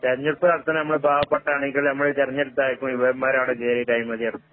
തെരഞ്ഞെടുപ്പ് നടത്താൻ നമ്മടെ പാവപ്പെട്ട അണികള് നമ്മളെ തെരഞ്ഞെടുത്തായിരിക്കും ഇവമ്മാരവടെ കേറീട്ട് അഴിമതി നടത്തും.